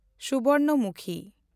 ᱥᱩᱵᱚᱨᱱᱚᱢᱩᱠᱷᱤ